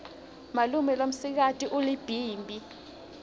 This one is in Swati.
malume lomsikati ulibhimbi